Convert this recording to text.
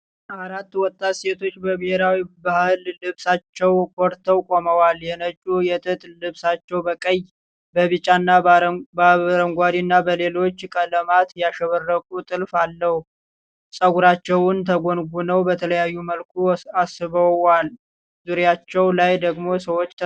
አራት ወጣት ሴቶች በብሔራዊ ባህላዊ ልብሳቸው ኮርተው ቆመዋል፡፡ የነጩ የጥጥ ልብሳቸው በቀይ፣ በቢጫ፣ በአረንጓዴ እና በሌሎች ቀለማት ያሸበረቀ ጥልፍ አለው፡፡ ፀጉራቸውን ተጎንጉነው በተለያየ መልኩ አስውበዋል፡፡ ዙሪያቸው ላይ ደግሞ ሰዎች ተሰብስበዋል ፡፡